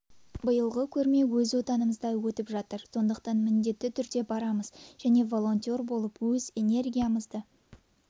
биылғы көрме өз отанымызда өтіп жатыр сондықтан міндетті түрде барамыз және волонтер болып өз энергиямызды